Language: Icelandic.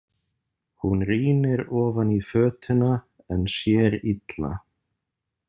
Hún rýnir ofan í fötuna en sér illa.